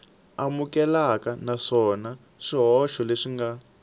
amukeleka naswona swihoxo leswi nga